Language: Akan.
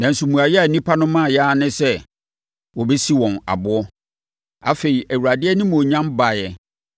Nanso mmuaeɛ a nnipa no maeɛ ara ne sɛ, wɔbɛsi wɔn aboɔ. Afei, Awurade animuonyam baeɛ